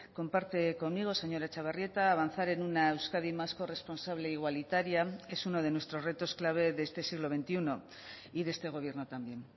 comparte conmigo señora etxebarrieta avanzar en una euskadi más corresponsable e igualitaria es uno de nuestros retos clave de este siglo veintiuno y de este gobierno también